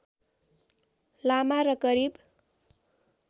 लामा र करिब